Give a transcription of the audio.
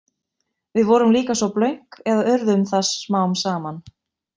Við vorum líka svo blönk eða urðum það smám saman.